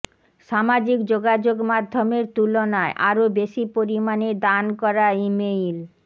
সামাজিক যোগাযোগ মাধ্যমের তুলনায় আরো বেশি পরিমাণে দান করা ইমেইল